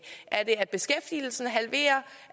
er det at beskæftigelsen er halveret